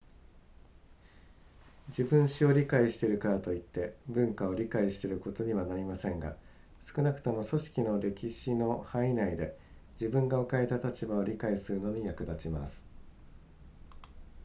自分史を理解しているからといって文化を理解していることにはなりませんが少なくとも組織の歴史の範囲内で自分が置かれた立場を理解するのに役立ちます